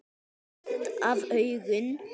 Beint af augum.